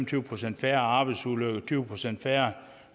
tyve procent færre arbejdsulykker tyve procent færre